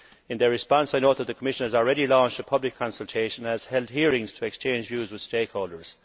In their response, I note that the Commission has already launched a public consultation and has held hearings to exchange views with stakeholders.